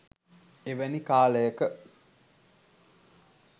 එවැනි කාලයක